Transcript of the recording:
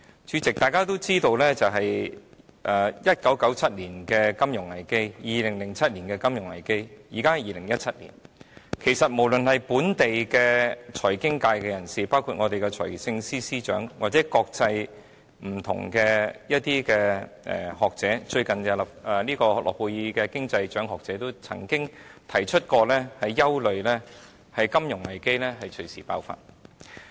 主席，大家都知道 ，1997 年曾出現金融危機 ，2007 年亦曾出現金融危機，而現在是2017年，其實無論是本地財經界人士，包括我們的財政司司長或不同的國際學者，例如最近獲諾貝爾經濟學獎的學者，均曾表示憂慮金融危機隨時爆發。